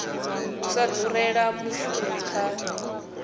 u sa durela mushumi kha